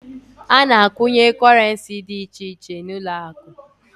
A na a kwunye korenci dị iche iche n'uloaku